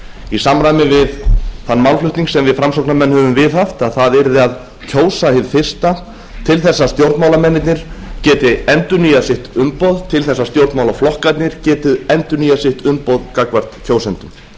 í samræmi við þann málflutning sem við framsóknarmenn höfum viðhaft að það yrði að kjósa hið fyrsta til þess að stjórnmálamennirnir geti endurnýjað sitt umboð til þess að stjórnmálaflokkarnir geti endurnýjað sitt umboð gagnvart kjósendum